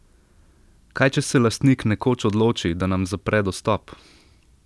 Kaj če se lastnik nekoč odloči, da nam zapre dostop?